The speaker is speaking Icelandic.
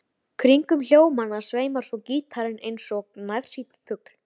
Rerum við þessu næst aftur í land.